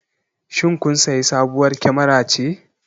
Shin kun sayi sabuwar kyamara ce?